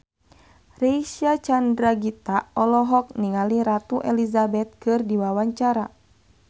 Reysa Chandragitta olohok ningali Ratu Elizabeth keur diwawancara